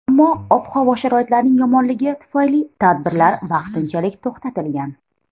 Ammo ob-havo sharoitlarining yomonligi tufayli tadbirlar vaqtinchalik to‘xtatilgan.